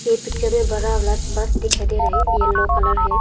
ये पिक्चर मे बरा वाला बस दिखाई दे रहे है येलो कलर है।